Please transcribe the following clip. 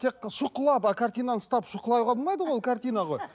тек шұқылап ыыы картинаны ұстап шұқылауға болмайды ғой ол картина ғой